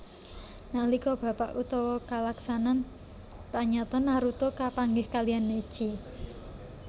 Nalika babak utama kalaksanan pranyata Naruto kapanggih kaliyan Neji